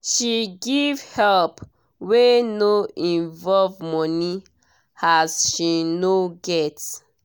she give help wey no involve money as she no get